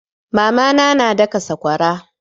Mama na na daka sakwara.